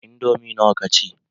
Indomi nawa ka ci?